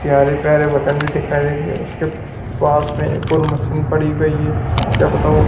प्यारे प्यारे भी दिखाई दे उसके पास में एक और मशीन पड़ी हुई है क्या पता ओ--